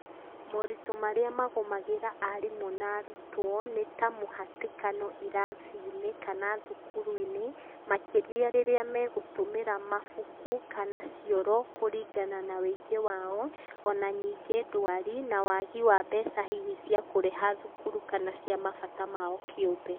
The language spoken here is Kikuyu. Moritũ marĩa magũmagĩra arimũ na arutwo nĩ ta mũhatĩkano irathinĩ kana thukuruinĩ, makĩria rĩrĩa megũtũmĩra mabuku kana cioro kũringana na ũingi wao o na ningĩ ndwari na waagi wa mbeca hihi cia kũrĩha thukuru kana cia mabata mao kĩũmbe.